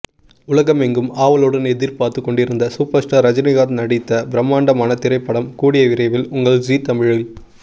உலகமெங்கும் ஆவலுடன் எதிர்பாத்து கொண்டிருந்த சூப்பர் ஸ்டார் ரஜினிகாந்த் நடித்த ப்ரம்மாண்டமான திரைப்படம் கூடிய விரைவில் உங்கள் ஜீ தமிழில்